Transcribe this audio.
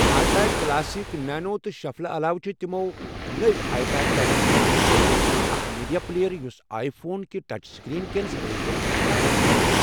I پاڑ classic, nano تہٕ شفلہٕ علاوٕ چُھ تِمو نوِ آیی پاڑ ٹَچُک اعلان کوٚرمُت، أکھ میٖڈیا پٕلییر، یُس آیی فون کہِ ٹچ سٕکریٖن کیٚن صلٲحِیژن نقٕل چھُ کران ۔